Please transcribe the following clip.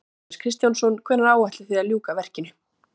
Jóhannes Kristjánsson: Hvenær áætlið þið að ljúka verkinu?